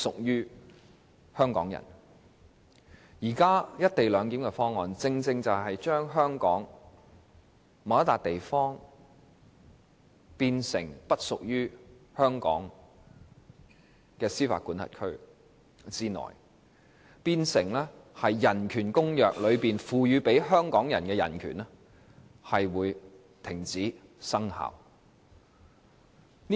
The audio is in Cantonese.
現時"一地兩檢"方案正正把香港某個地方劃分為不屬於香港司法管轄區以內，變相令《公約》賦予香港人的人權在相關地方停止生效。